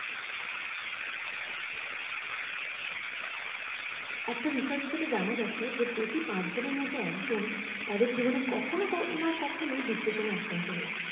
একটা research থেকে জানা গেছে যে প্রতি পাঁচ জনের মধ্যে একজন তাদের জীবনে কখনো না কখনো depression এ আক্রান্ত হয়েছে